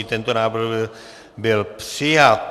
I tento návrh byl přijat.